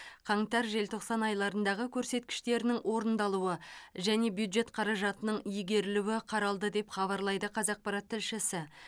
қаңтар желтоқсан айларындағы көрсеткіштерінің орындалуы және бюджет қаражатының игерілуі қаралды деп хабарлайды қазақпарат тілшісі